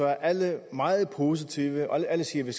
er alle meget positive og alle siger at vi